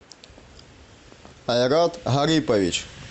айрат гарипович